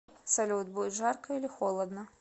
салют будет жарко или холодно